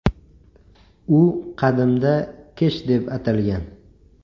U qadimda Kesh deb atalgan.